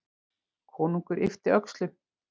Konungur yppti öxlum.